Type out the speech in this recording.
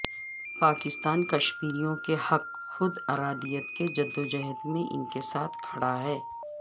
پاکستان کشمیریوں کے حق خودارادیت کی جدوجہد میں ان کے ساتھ کھڑا ہے